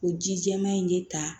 O ji jɛman in bɛ ta